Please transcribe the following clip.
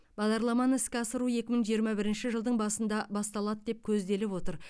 бағдарламаны іске асыру екі мың жиырма бірінші жылдың басында басталады деп көзделіп отыр